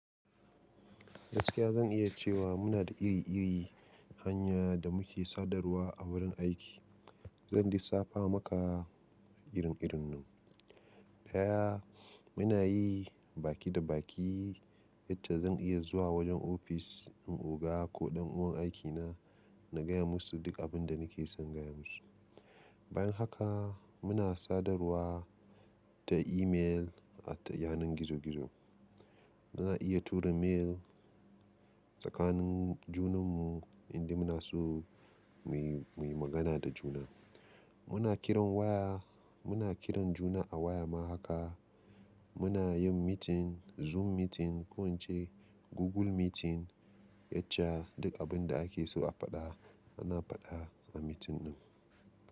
Gaskiya zan iya cewa muna da iri-iri hanya da muke sadarwa a wurin aiki. Zan disafa maka irin-irin nan. Ɗaya, muna yi baki da baki, yace zan iya zuwa wajen ofis ɗin oga ko ɗan uwan aiki na, na gaya musu duk abin da nake son gaya musu. Bayan haka muna sadarwa ta email ta yanar gizo-gizo. Muna iya tura mail tsakanin junan mu, inda muna so mu yi, mu yi magana da juna. Muna kiran waya, muna kiran juna a waya ma haka. Muna yin meeting, zoom meeting, ko wance Google meeting, yacca duk abin da ake so a faɗa, ana faɗa a meeting din.